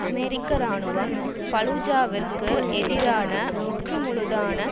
அமெரிக்க இராணுவம் பலூஜாவிற்கு எதிரான முற்றுமுழுதான